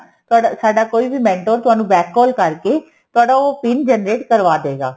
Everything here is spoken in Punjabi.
ਸਾਡਾ ਸਾਡਾ ਕੋਈ mentor ਤੁਹਾਨੂੰ back call ਕਰਕੇ ਤੁਹਾਡਾ ਉਹ PIN generate ਕਰਵਾਦੇਗਾ